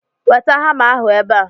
Weta hama ahụ ebe a!